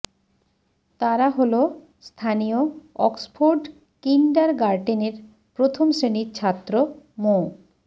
তারা হলো স্থানীয় অক্সফোর্ড কিন্ডারগার্ডেনের প্রথম শ্রেণির ছাত্র মো